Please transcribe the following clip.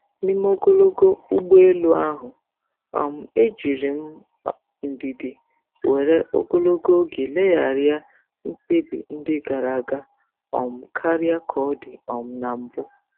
N'ime ogologo ụgbọ elu ahụ, um ejiri m ndidi were ogologo oge legharịa mkpebi ndị gara aga um karịa ka ọ dị um na mbụ.